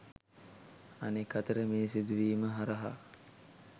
අනෙක් අතට මේ සිදුවීම හරහා